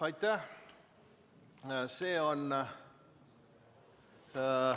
Aitäh!